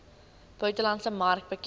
buitelandse mark bekend